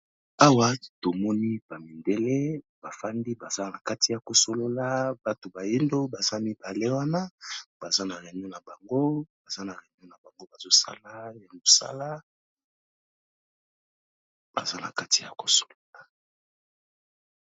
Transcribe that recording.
Awa tomoni ba mindele bafandi baza na kati ya ko solola bato bayindo baza mibale wana, baza na reunion na bango. Baza na reunion na bango bazo sala ya mosala, baza na kati ya ko solola.